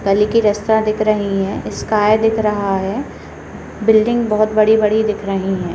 गाली की रास्ता दिख रही है स्काई दिख रहा है बिल्डिंग बहुत बड़ी-बड़ी दिख रही हैं।